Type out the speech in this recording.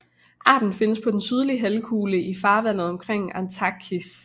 Arten findes på den sydlige halvkugle i farvandet omkring Antarktis